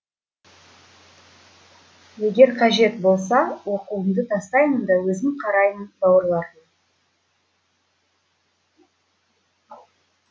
егер қажет болса оқуымды тастаймын да өзім қараймын бауырларыма